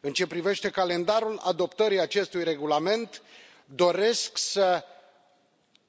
În ceea ce privește calendarul adoptării acestui regulament, doresc să